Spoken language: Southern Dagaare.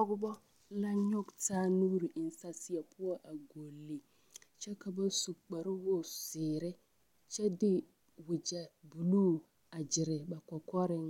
Pɔgebɔ la nyɔge taa nuuri a eŋ saseɛ poɔ a gɔlli. Kyɛ ka ba su kparewogizeere kyɛ de wogyɛ buluu a gyere ba kɔkɔreŋ